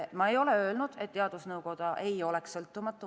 Ma ei ole öelnud, et teadusnõukoda ei oleks sõltumatu.